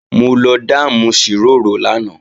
Mo lọ dáàmù ṣìrórò lánàá